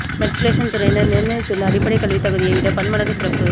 matriculation துறையினர் நிர்ணயித்துள்ள அடிப்படைக் கல்வித் தகுதியை விட பன்மடங்கு சிறப்பு